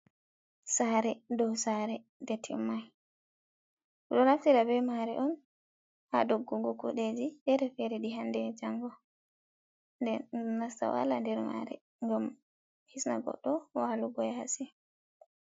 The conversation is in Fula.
Sare dow sare nde timmai ɓeɗo naftira be mare on ha doggungo kuɗeji fere ɗi hande e jango den nasta wala nder mare gam hisna goɗɗo do walugo ha yasi.